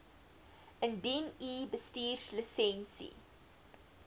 indien u bestuurslisensie